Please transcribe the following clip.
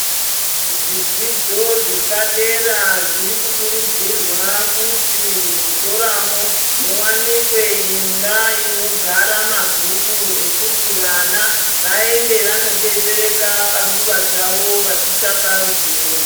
Zvidzidzo zvepadera zviri kukurudzirwa kuti muzvikoramo. Muvanike imba inogara mabhuku ekuti vana vaende vanobetsereka panguva dzavo vachitsvaka ruzivo.